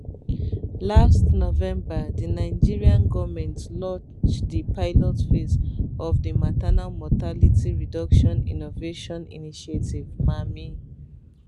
last november di nigerian goment launch di pilot phase of di maternal mortality reduction innovation initiative mamii